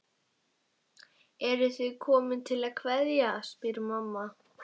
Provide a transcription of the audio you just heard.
Eruð þið komin til að kveðja, spyr mamma.